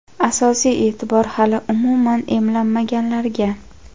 Asosiy eʼtibor – hali umuman emlanmaganlarga.